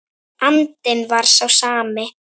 Andinn var sá sami.